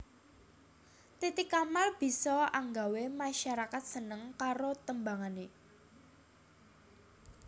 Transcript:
Titi Kamal bisa anggawé masarakat seneng karo tembangané